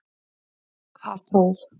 Það próf